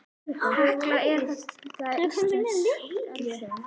Hekla er þekkt íslenskt eldfjall.